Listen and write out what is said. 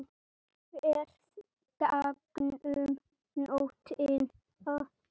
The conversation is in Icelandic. Ferð gegnum nóttina